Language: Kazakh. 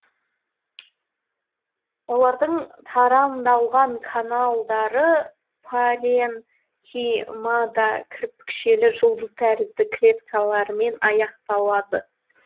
олардың тарамдалған каналдары паренхимада кірпікшелі жұлдыз тәрізді клеткалармен аяқталады